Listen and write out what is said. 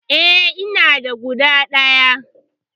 E, ina da guda ɗaya.